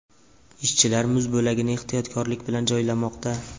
Ishchilar muz bo‘lagini ehtiyotkorlik bilan joylamoqda.